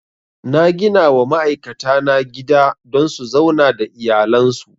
Na ginawa ma'aikata na gida don su zauna da iyalan su